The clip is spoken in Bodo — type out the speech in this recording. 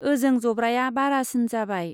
ओजों जब्राया बारासिन जाबाय।